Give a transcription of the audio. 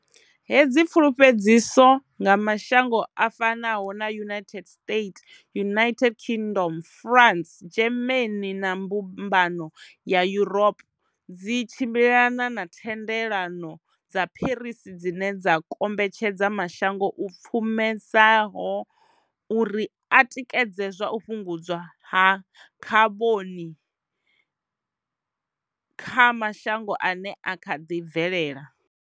Hedzi pfulufhedziso nga mashango a fanaho na United States, United Kingdom, France, Germany na mbumbano ya Yuropa dzi tshimbilelana na thendelano dza Paris dzine dza kombetshedza mashango u pfumesaho uri a tikedze zwa u fhungudzwa ha khaboni kha mashangon ane a kha ḓi bvelela.